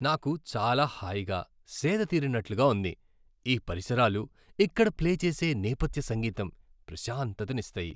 నాకు చాలా హాయిగా, సేద తీరినట్లుగా ఉంది, ఈ పరిసరాలు, ఇక్కడ ప్లే చేసే నేపథ్య సంగీతం ప్రశాంతతనిస్తాయి!